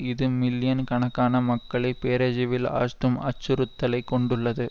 இது மில்லியன் கணக்கான மக்களை பேரஜிவில் ஆஜ்த்தும் அச்சுறுத்தலை கொண்டுள்ளது